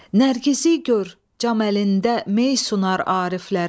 Nərgizi gör, cam əlində mey sunar ariflərə.